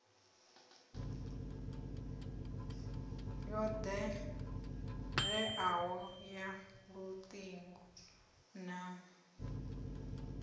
yo ḓewleaho ya luṱingo na